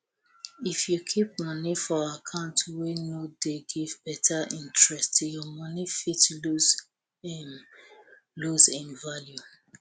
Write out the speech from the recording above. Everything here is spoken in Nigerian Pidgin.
if you kip moni for account wey no dey give beta interest your moni fit lose im lose im value